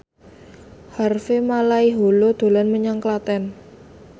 Harvey Malaiholo dolan menyang Klaten